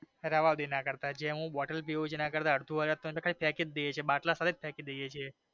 રેવાદેયો ના કરતા હું જે બોટલ પિવ છુ એના કરતા અડધું અઢડ તો ફેંકી જ દયે છી બાટલા પર જ ફેંકી દયે છીએ